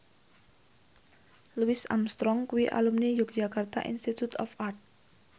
Louis Armstrong kuwi alumni Yogyakarta Institute of Art